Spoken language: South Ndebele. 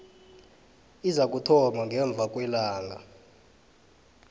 izakuthoma ngemva kwelanga